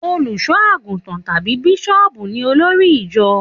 Òlúṣọàgútàn tàbí Bíṣòbú ní òlòrí ìjọ